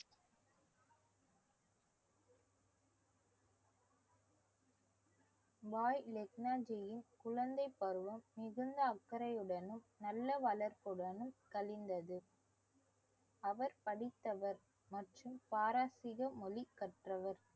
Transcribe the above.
பாய் லெக்னா ஜியின் குழந்தைப்பருவம் மிகுந்த அக்கறையுடனும் நல்ல வளர்ப்புடனும் கழிந்தது அவர் படித்தவர் மற்றும் பாரசீக மொழி கற்றவர்